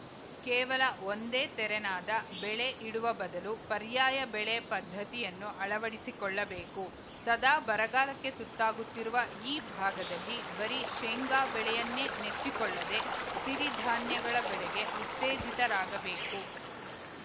ಕೇವಲ ಒಂದೇ ತೆರೆನಾದ ಬೆಳೆ ಇಡುವ ಬದಲು ಪರ್ಯಾಯ ಬೆಳೆ ಪದ್ಧತಿಯನ್ನು ಅಳವಡಿಸಿಕೊಳ್ಳಬೇಕು ಸದಾ ಬರಗಾಲಕ್ಕೆ ತುತ್ತಾಗುತ್ತಿರುವ ಈ ಭಾಗದಲ್ಲಿ ಬರೀ ಶೇಂಗಾ ಬೆಳೆಯನ್ನೇ ನೆಚ್ಚಿಕೊಳ್ಳದೆ ಸಿರಿಧಾನ್ಯಗಳ ಬೆಳೆಗೆ ಉತ್ತೇಜಿತರಾಗಬೇಕು